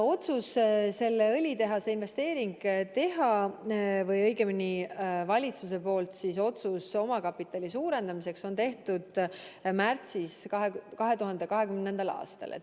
Otsus selle õlitehase investeering teha või õigemini valitsuse otsus omakapitali suurendada tehti 2020. aasta märtsis.